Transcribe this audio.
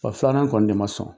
Fa filanan kɔni de ma sɔn.